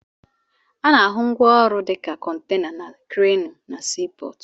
Ana-ahụ ngwaọrụ dịka kọntena na kreenụ na sii pọọtụ.